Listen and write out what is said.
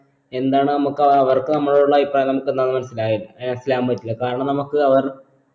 എന്താണ് നമ്മക്ക് ആ അവർക്ക് നമ്മളോടുള്ള അഭിപ്രായം നമ്മക്ക് എന്താന്ന് മനസിലായൽ ഏഹ് പറ്റില്ല കാരണം നമ്മക്ക് അവർ